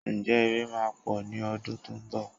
Ǹjẹ́ Ìrẹ̀ máa pọ̀ ní ọdún tó ń bọ̀?